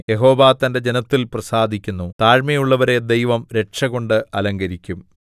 യഹോവ തന്റെ ജനത്തിൽ പ്രസാദിക്കുന്നു താഴ്മയുള്ളവരെ ദൈവം രക്ഷകൊണ്ട് അലങ്കരിക്കും